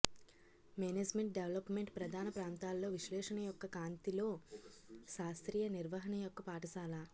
management development ప్రధాన ప్రాంతాల్లో విశ్లేషణ యొక్క కాంతి లో శాస్త్రీయ నిర్వహణ యొక్క పాఠశాల